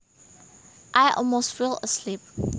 I almost fell asleep